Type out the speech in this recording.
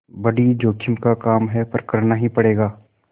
बड़ी जोखिम का काम है पर करना ही पड़ेगा